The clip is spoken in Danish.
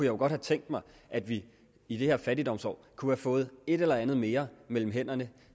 jo godt have tænkt mig at vi i det her fattigdomsår kunne have fået et eller andet mere mellem hænderne